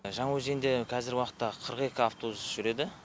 жаңаөзенде қазіргі уақытта қырық екі автобус жүреді